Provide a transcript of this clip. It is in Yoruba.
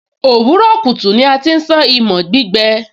òwúrọ̀ kùtù ni a ti ń sán imọ̀ gbígbẹ